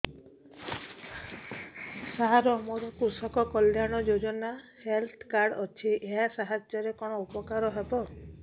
ସାର ମୋର କୃଷକ କଲ୍ୟାଣ ଯୋଜନା ହେଲ୍ଥ କାର୍ଡ ଅଛି ଏହା ସାହାଯ୍ୟ ରେ କଣ ଉପକାର ହବ